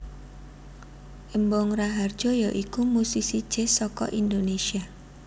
Embong Rahardjo ya iku musisi jazz saka Indonesia